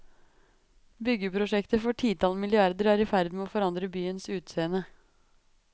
Byggeprosjekter for titall milliarder er i ferd med å forandre byens utseende.